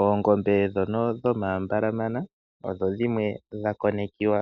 Oongombe dhono dhomambalamana odho dhimwe dhakonekiwa